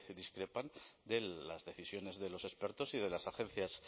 discrepan de las decisiones de los expertos y de las agencias